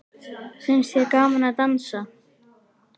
Finnst þér gaman að dansa?